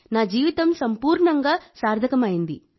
నా జీవితం సంపూర్ణంగా సార్థకమయింది